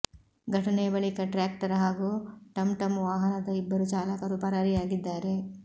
ಘಟನೆಯ ಬಳಿಕ ಟ್ರ್ಯಾಕ್ಟರ್ ಹಾಗೂ ಟಂಟಂ ವಾಹನದ ಇಬ್ಬರೂ ಚಾಲಕರು ಪರಾರಿಯಾಗಿದ್ದಾರೆ